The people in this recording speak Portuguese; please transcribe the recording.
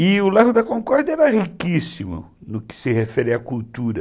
E o Largo da Concórdia era riquíssimo no que se refere à cultura.